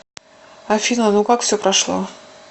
афина ну как все прошло